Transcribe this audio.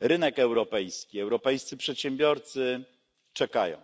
rynek europejski i europejscy przedsiębiorcy czekają.